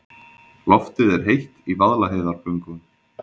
Loftið er heitt í Vaðlaheiðargöngum.